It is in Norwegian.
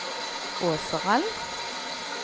Åseral